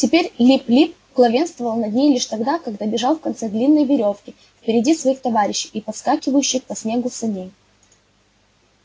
теперь лип лип главенствовал над ней лишь тогда когда бежал в конце длинной верёвки впереди своих товарищей и подскакивающих по снегу саней